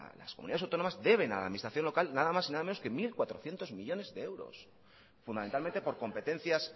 las comunidades autónomas deben a la administración local nada más y nada menos que mil cuatrocientos millónes de euros fundamentalmente por competencias